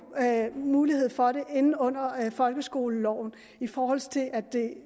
mulighed for det inde under folkeskoleloven i forhold til at